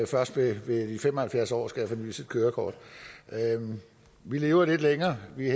først ved ved de fem og halvfjerds år skal have fornyet sit kørekort vi lever lidt længere vi